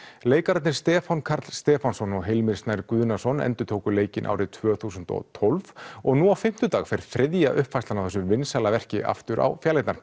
leikararnir Stefán Karl Stefánsson og Hilmir Snær Guðnason endurtóku leikinn árið tvö þúsund og tólf og nú á fimmtudag fer þriðja uppfærslan á þessu vinsæla verki aftur á fjalirnar